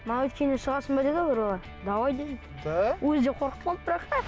шығасың ба деді бір бала давай дедім да өзі де қорқып қалды бірақ